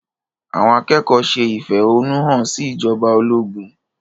Àwọn akẹ́kọ̀ọ́ ṣe ìfẹ̀hónúhàn sí ìjọba ológun.